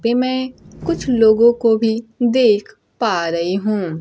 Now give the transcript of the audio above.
B में कुछ लोगों को भी देख पा रई हूं।